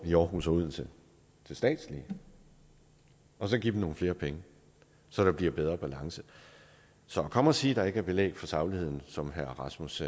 i aarhus og odense til statslige og så give dem nogle flere penge så der bliver en bedre balance så at komme og sige at der ikke er belæg for sagligheden som herre rasmus